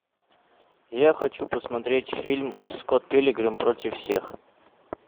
я хочу посмотреть фильм скотт пилигрим против всех